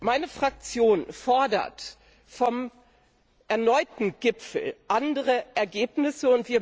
Meine Fraktion fordert von dem erneuten Gipfel andere Ergebnisse.